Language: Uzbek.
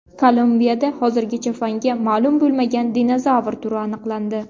Kolumbiyada hozirgacha fanga ma’lum bo‘lmagan dinozavr turi aniqlandi.